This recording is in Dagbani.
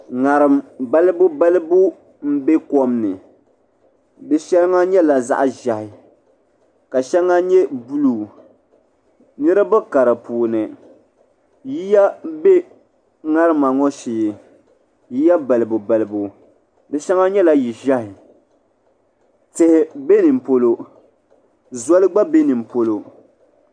Ŋariŋ balibu balibu m be kom ni di shɛŋa nyɛla zaɣa ʒehi ka sheŋa nyɛ buluu niriba ka di puuni yiya be ŋarima ŋɔ shee yiya balibu balibu fi sheŋɔ nyɛla yili ʒehi tihi be nimpolo zoli gba be nimpolo.